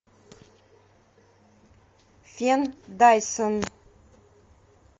фен дайсон